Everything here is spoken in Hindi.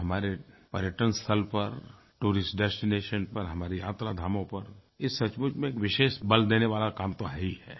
तो हमारे पर्यटन स्थल पर टूरिस्ट डेस्टिनेशन पर हमारे यात्रा धामों पर ये सचमुच में एक विशेष बल देने वाला काम तो है ही है